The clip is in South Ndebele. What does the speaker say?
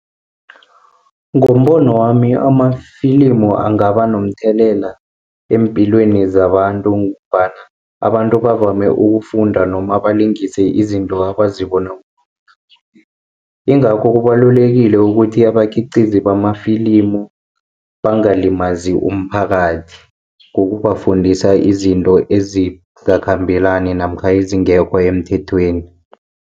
Ngombono wami amafilimu angaba nomthelela eempilweni zabantu, ngombana abantu bavame ukufunda noma balingise izinto abazibona . Ingakho kubalulekile ukuthi abakhiqizi bamafilimu bangalimazi umphakathi, ngokubafundisa izinto ezingakhambelani namkha ezingekho emthethweni.